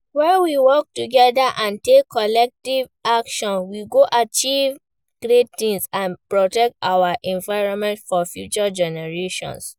When we work together and take collective action, we go achieve great things and protect our environment for future generations.